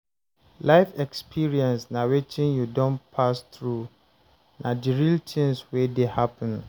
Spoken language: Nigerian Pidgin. Life experience na wetin you don pass through, na di real things wey dey happen